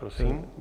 Prosím.